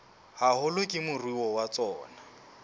haholo ke moruo wa tsona